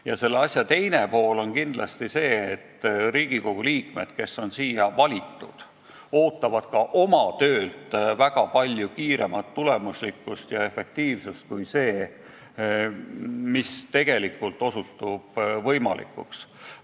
Ja selle asja teine külg on kindlasti see, et Riigikogu liikmed, kes on siia valitud, ootavad ka oma töölt väga palju kiiremat tulemuslikkust ja suuremat efektiivsust, kui on see, mis tegelikult osutub võimalikuks.